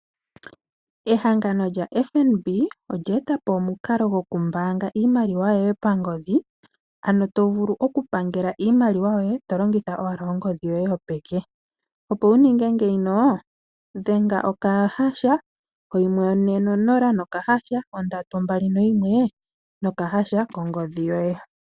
Ehangano lyaFNB olye eta po omukalo goku mbaanga iimaliwa yoye pangodhi. Ano to vulu oku pangela iimaliwa yoye to longitha owala ongodhi yoye yopeke. Opo wu ninge ngeyi dhenga okahasha oyimwe one nonola nokahasha ondatu ombali noyimwe nokahasha kongodhi yoye.